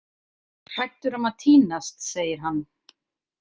Hræddur um að týnast, segir hann.